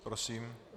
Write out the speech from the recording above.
Prosím.